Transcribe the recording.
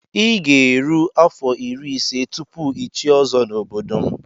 I ga-eru afọ irí ise tụpụ ichié ozo na ọbọdọ m.